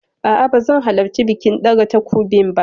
A'a ba zan halarci bikin ɗaga takobin ba.